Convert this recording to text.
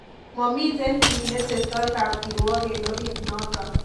Mamiten kiit netestoi kapkirwok en orit noton